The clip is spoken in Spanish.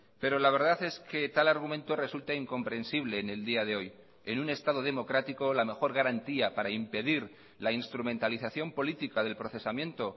pero la verdad es que tal argumento resulta incomprensible en el día de hoy en un estado democrático la mejor garantía para impedir la instrumentalización política del procesamiento